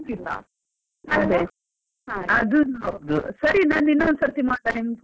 ಅದೇ ಅದುನು ಹೌದು, ಸರಿ ನಾನ್ ಇನ್ನೊಂದು ಸರ್ತಿ ಮಾಡ್ಲಾ ನಿನ್ಗೆ phone .